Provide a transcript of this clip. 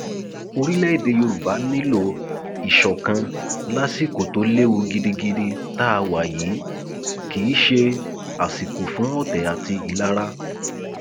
orílẹèdè yorùbá nílò ìṣọkan lásìkò tó léwu gidigidi tá a wà yìí kì í ṣe àsìkò fún ọtẹ àti ìlara